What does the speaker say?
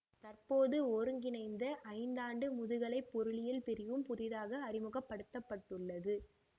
தற்போது ஒருங்கிணைந்த ஐந்தாண்டு முதுகலை பொருளியல் பிரிவும் புதிதாக அறிமுகப்படுத்தப்பட்டுள்ளது